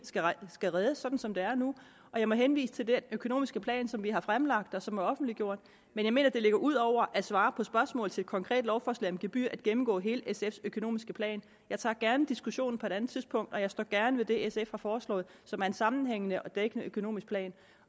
skal reddes sådan som det er nu jeg må henvise til den økonomiske plan som vi har fremlagt og som er offentliggjort men jeg mener det ligger ud over at svare på spørgsmålet til et konkret lovforslag om gebyrer at gennemgå hele sfs økonomiske plan jeg tager gerne diskussionen på et andet tidspunkt og jeg står gerne ved det sf har foreslået som er en sammenhængende og dækkende økonomisk plan